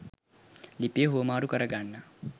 ලිපිය හුවමාරු කරගන්න